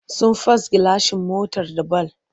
Sun fast gilashin motar da bal.